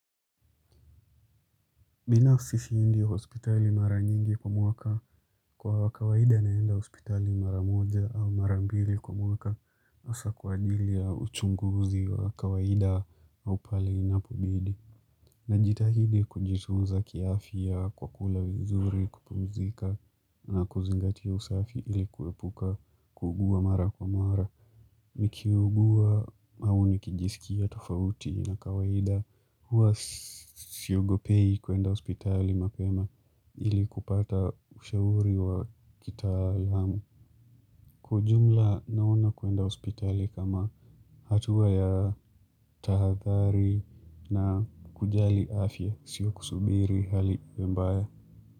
Binafsi siendi hospitali mara nyingi kwa mwaka kwa kawaida naenda hospitali mara moja au mara mbili kwa mwaka hasa kwa ajili ya uchunguzi wa kawaida au pahali inapobidi. Najitahidi kujitunza kiafya kwa kula vizuri kupumzika na kuzingatia usafi ilikuepuka kuugua mara kwa mara. Nikiugua au nikijisikia tofauti na kawaida huwa siogopi kuenda hospitali mapema ili kupata ushauri wa kitaalamu Kwa ujumla naona kuenda hospitali kama hatua ya tahadhari na kujali afya sio kusubiri hali iwe mbaya.